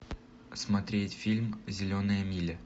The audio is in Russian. смотреть фильм зеленая миля